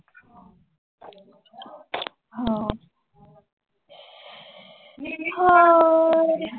ਹੋਰ।